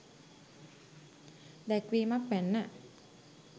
දැක්වීමක් වැන්න.